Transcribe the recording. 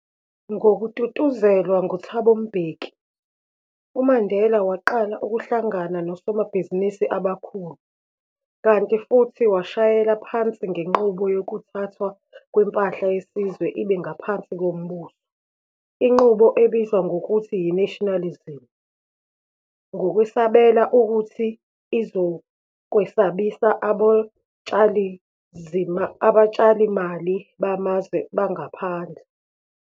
Ngokututuzelwa nguThabo Mbeki, uMandela waqala ukuhlangana nosomabhizinisi abakhulu, kanti futhi washayela phansi ngenqubo yokuthathwa kwempahla yesizwe ibe ngaphansi kombuso, inqubo ebizwa ngokuthi yi-nationalisation, ngokwesabela ukuthi izokwesabisa abotshalomali bamazwe angaphandle.